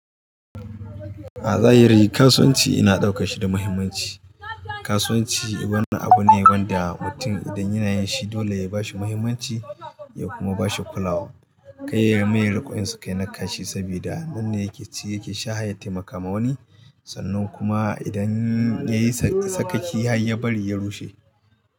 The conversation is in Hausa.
A zahiri kasuwanci ina ɗauke shi da muhimmanci. Kasuwanci wani abu ne wanda mutum idan yana yin shi dole ya ba shi muhimmanci ya kuma ba shi kulawa. Kai ya mai riƙon su kai na ƙashi saboda wannan yake ci yake sha hayyace makamawani sannan kuma idan yayi sakakki har ya bari ya rushe.